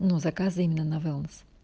но заказы именно на вилмс